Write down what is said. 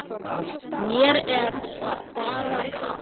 Mér er bara kalt.